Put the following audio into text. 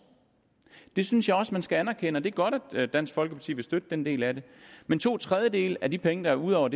det synes jeg også man skal anerkende og det er godt at dansk folkeparti vil støtte den del af det men to tredjedele af de penge der er ud over